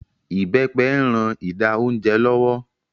Ibepe ń rán ìdá oúnjẹ lọ́wọ́